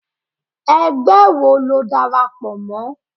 ẹgbẹ wọ lo dárápọ mọ?